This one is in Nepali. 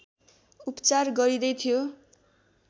उपचार गरिँदै थियो